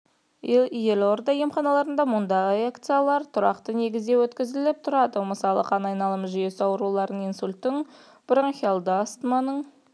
елорда емханаларында мұндай акциялар тұрақты негізде өткізіліп тұрады мысалы қан айналымы жүйесі ауруларының инсульттың бронхиалды астманың